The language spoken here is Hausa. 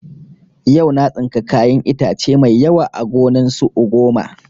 Yau na tsinka kayan itace mai yawa a gonan su ugoma